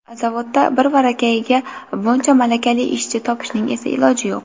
Zavodda birvarakayiga buncha malakali ishchi topishning esa iloji yo‘q.